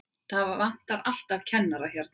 Það vantar alltaf kennara hérna.